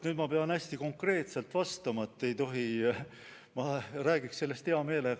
Nüüd ma pean hästi konkreetselt vastama, ei tohi ju.